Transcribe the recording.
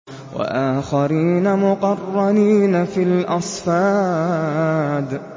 وَآخَرِينَ مُقَرَّنِينَ فِي الْأَصْفَادِ